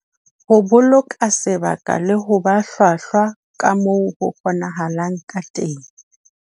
Ho boloka sebaka le ho ba hlwahlwa ka moo ho kgonahalang ka teng